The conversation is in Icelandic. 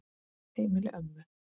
Heimili ömmu.